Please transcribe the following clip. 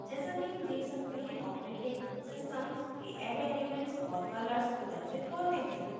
जैसा कि हम देख सकते हैं operating _ systems के array elements और colors प्रदर्शित होते हैं